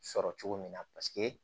Sɔrɔ cogo min na paseke